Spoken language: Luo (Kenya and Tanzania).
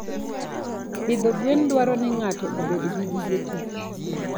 Pidho gwen dwaro ni ng'ato obed gi gige tich.